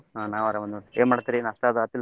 ಹ ನಾವ್ ಅರಾಮದೀವ್ ನೋಡ್ರೀ ಏನ್ ಮಾಡ್ತೀರಿ ನಾಷ್ಟಾ ಅದ್ ಆತಿಲ್ಲರಿ?